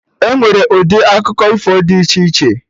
Enwere ụdị akụkọ ifo dị iche iche